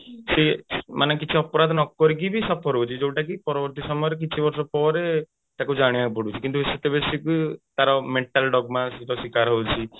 ସେ ମାନେ କିଛି ଅପରାଧୀ ନ କରିକି ବି suffer ହଉଛି ଯୋଉଟା କି ପରବର୍ତ୍ତୀ ସମୟରେ କିଛି ବର୍ଷ ପରେ ତାକୁ ଜାଣିବାକୁ ପଡୁଛି କିନ୍ତୁ ସେତେବେଳେ ସେ ତାର mental ର ଶିକାର ହଉଛି